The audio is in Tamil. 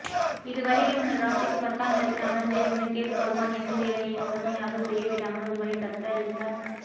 இதுவரையில் உங்கள் ராசிக்கு பத்தாமிடத்தில் அமர்ந்திருந்த கேதுபகவான் எந்த வேலையையும் முழுமையாகச் செய்ய விடாமல் உங்களை தத்த ளிக்க